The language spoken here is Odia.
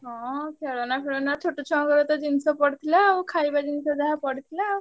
ହଁ ଖେଳନା ଫେଳନା ଛୋଟ ଛୁଆଙ୍କର ତ ଜିନିଷ ପଡିଥିଲା ଆଉ ଖାଇବା ଜିନିଷ ଯାହା ପଡିଥିଲା।